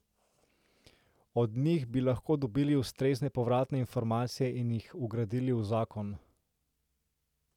Od njih bi lahko dobili ustrezne povratne informacije in jih vgradili v zakon.